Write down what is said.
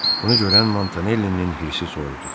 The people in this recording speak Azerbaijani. Bunu görən Montanellinin hirsi soyudu.